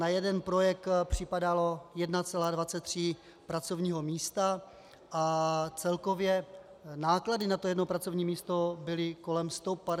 Na jeden projekt připadalo 1,23 pracovního místa a celkově náklady na jedno pracovní místo byly kolem 158 tisíc korun.